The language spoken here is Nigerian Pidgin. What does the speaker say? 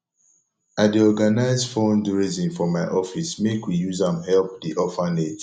i dey organise fundraising for my office make we use am help di orphanage